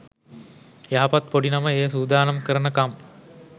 යහපත් පොඩි නම එය සූදානම් කරනකම්